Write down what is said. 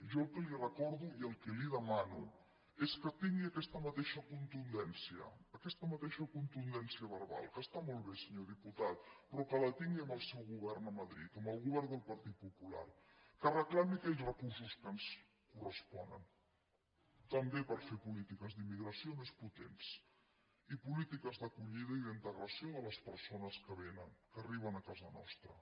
jo el que li recordo i el que li demano és que tingui aquesta mateixa contundència aquesta mateixa contundència verbal que està molt bé senyor diputat però que la tingui amb el seu govern a madrid amb el govern del partit popular que reclami aquells recursos que ens corresponen també per fer polítiques d’immigració més potents i polítiques d’acollida i d’integració de les persones que vénen que arriben a casa nostra